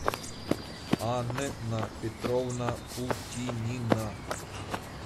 анна петровна путинина